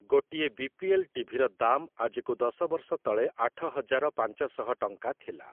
ଗୋଟିଏ ବି.ପି.ଏଲ୍‌. ଟିଭିର ଦାମ୍ ଆଜିକୁ ଦଶ ବର୍ଷ ତଳେ ଆଠ ହଜାର ପାଞ୍ଚଶହ ଟଙ୍କା ଥିଲା ।